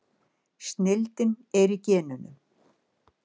Snillin er í genunum.